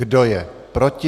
Kdo je proti?